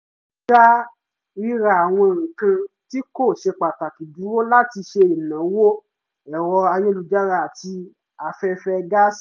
a dá ríra àwọn nǹkan tí kò ṣe pàtàkì dúró láti ṣe ìnáwó ẹ̀rọ ayélujára àti afẹ́fẹ́ gáàsì